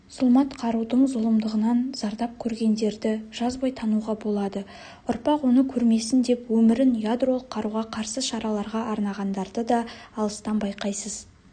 зұлмат қарудың зұлымдығынан зардап көргендерді жазбай тануға болады ұрпақ оны көрмесін деп өмірін ядролық қаруға қарсы шараларға арнағандарды да алыстан байқайсыз